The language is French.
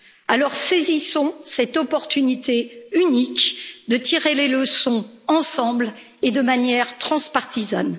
Alors, saisissons cette opportunité unique de tirer les leçons ensemble et de manière transpartisane.